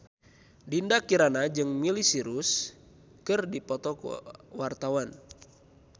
Dinda Kirana jeung Miley Cyrus keur dipoto ku wartawan